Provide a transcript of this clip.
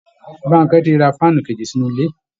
Bankẹ ti ra fáànù kèjì sínú ilé